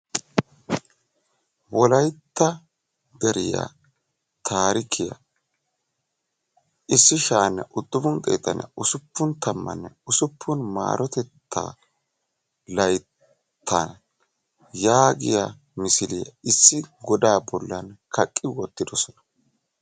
Wolaytta deriya taarikkiya 1966 M.L yaagiya misiliya issi godaa bollan kaqqi wottidosona.